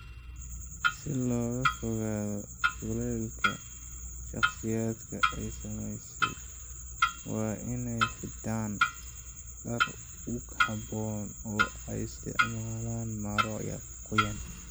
Si looga fogaado kulaylka, shakhsiyaadka ay saamaysay waa inay xidhaan dhar ku habboon oo ay isticmaalaan maro qoyan.